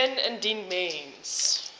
meen indien mens